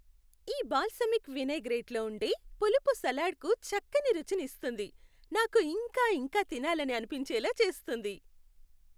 ఈ బాల్సమిక్ వినైగ్రేట్లో ఉండే పులుపు సలాడ్కు చక్కని రుచిని ఇస్తుంది, నాకు ఇంకా ఇంకా తినాలని అనిపించేలా చేస్తుంది.